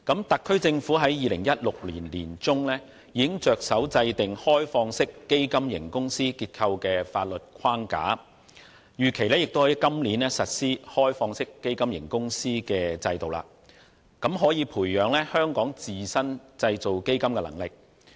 特區政府在2016年年中已着手制訂開放式基金型公司結構的法律框架，並預期在今年實施開放式基金型公司的制度，俾能培養香港自身製造基金的能力。